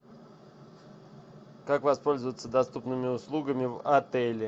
как воспользоваться доступными услугами в отеле